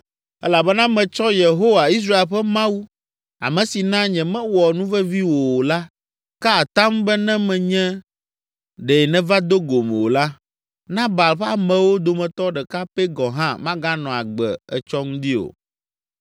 elabena metsɔ Yehowa, Israel ƒe Mawu, ame si na nyemewɔ nuvevi wò o la, ka atam be ne menye ɖe nèva do gom o la, Nabal ƒe amewo dometɔ ɖeka pɛ gɔ̃ hã maganɔ agbe etsɔ ŋdi o.”